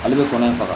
Ale bɛ kɔnɔ in faga